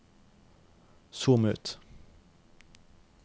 zoom ut